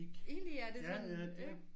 Egentlig er det sådan ikke